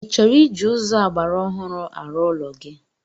Ị chọrọ iji ụzọ ọgbaraọhụrụ arụ ụlọ gi?